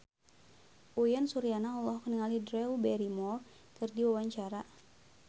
Uyan Suryana olohok ningali Drew Barrymore keur diwawancara